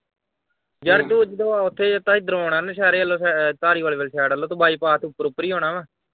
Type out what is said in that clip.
ਯਾਰ ਤੂੰ ਜਦੋਂ ਓਥੇ ਤੈ ਹਿਦਰੋਂ ਆਣਾ ਨੌ ਸ਼ਹਿਰੇ ਵੱਲੋਂ ਆਹ ਧਾਰੀਵੱਲੋ ਵਾਲੀ side ਵੱਲੋਂ ਤੂੰ ਬਾਈਪਾਸ ਤੋਂ ਉਪਰੋਂ ਉਪਰ ਈ ਆਉਣਾ ਵਾ।